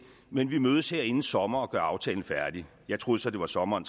men vi mødes her inden sommer og gør aftalen færdig jeg troede så det var sommeren